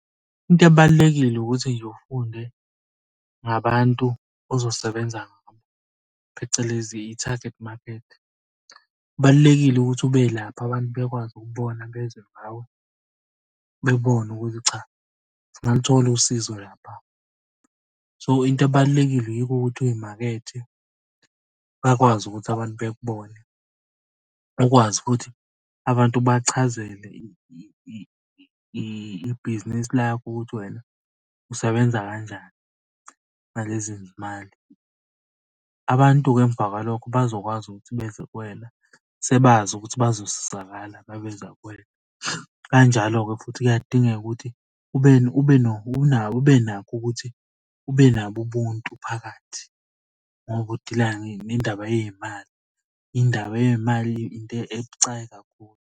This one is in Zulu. Into ebalulekile ukuthi nje ufunde ngabantu ozosebenza ngabo, phecelezi i-target market. Kubalulekile ukuthi ube lapha abantu bakwazi ukubona bezwe ngawe bebone ukuthi cha ngingaluthola usizo lapha. So into ebalulekile yikho ukuthi uy'makethe bakwazi ukuthi abantu bekubone. Bakwazi futhi abantu ubachazele ibhizinisi lakho ukuthi wena usebenza kanjani ngalezi zimali. Abantu-ke emva kwalokho bazokwazi ukuthi beze kuwena sebazi ukuthi bazosizakala uma beza kuwena. Kanjalo-ke futhi kuyadingeka ukuthi ube nakho ukuthi ube nabo ubuntu phakathi ngoba udila nendaba yey'mali. Indaba yemali into ebucayi kakhulu.